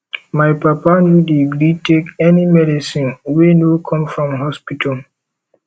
my papa no dey gree take any medicine wey no come from hospital